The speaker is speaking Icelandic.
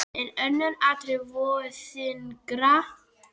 En önnur atriði vógu þyngra.